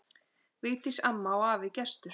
Vigdís amma og afi Gestur.